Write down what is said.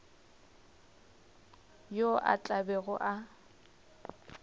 yo a tla bego a